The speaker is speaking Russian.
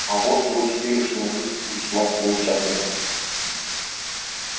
а вот его теперешняя жизнь весьма примечательна